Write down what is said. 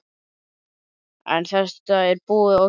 En þetta er búið og gert.